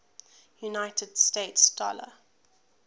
united states dollar